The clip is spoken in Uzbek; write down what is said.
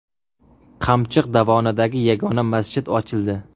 Qamchiq dovonidagi yagona masjid ochildi.